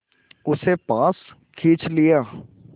उसे पास खींच लिया